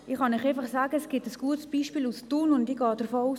Ich kann Ihnen aber es ein gutes Beispiel aus Thun aufzeigen.